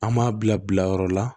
An m'a bila bilayɔrɔ la